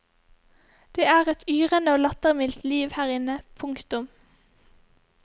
Det er et yrende og lattermildt liv her inne. punktum